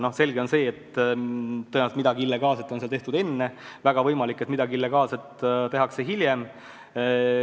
On selge, et tõenäoliselt midagi illegaalset on seal tehtud enne, ja väga võimalik, et midagi illegaalset tehakse ka tulevikus.